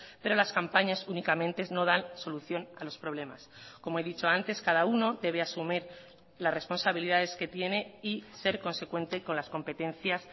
pero las campañas únicamente no dan solución a los problemas como he dicho antes cada uno debe asumir las responsabilidades que tiene y ser consecuente con las competencias